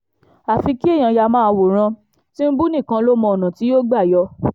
àfi kéèyàn yáa máa wòran tìǹbù nìkan ló mọ ọ̀nà tí yóò gbà yọ